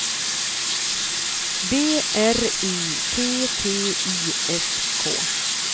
B R I T T I S K